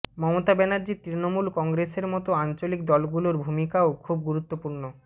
মমতা ব্যানার্জির তৃণমূল কংগ্রেসের মতো আঞ্চলিক দলগুলোর ভূমিকাও খুব গুরুত্বপূর্ণ